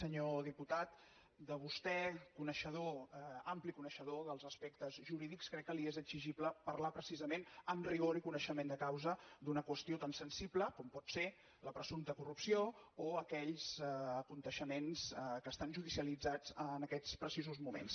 senyor diputat a vostè coneixedor ampli coneixedor dels aspectes jurídics crec que li és exigible parlar precisament amb rigor i coneixement de causa d’una qüestió tan sensible com pot ser la presumpta corrupció o aquells esdeveniments que estan judicialitzats en aquests precisos moments